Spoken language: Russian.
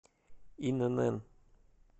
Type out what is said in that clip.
инн